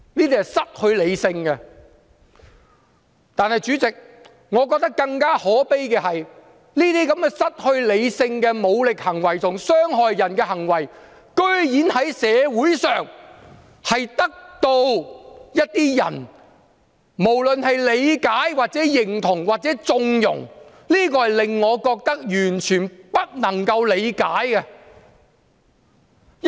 但是，主席，我認為更可悲的是，這些失去理性的武力行為和傷害人的行為，竟然在社會上得到一些人理解、認同或縱容，這都是我完全不能夠理解的。